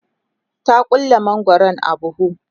ta ƙulle mangwaron a buhu